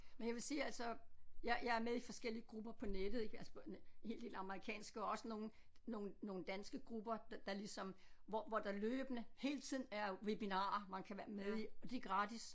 Men jeg vil sige altså jeg jeg er med i forskellige grupper på nettet ik altså på en hel del amerikanske og også nogle nogle nogle danske grupper der ligesom hvor hvor der løbende hele tiden er webinarer man kan være med i og de er gratis